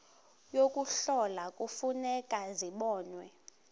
yokuhlola kufuneka zibonwe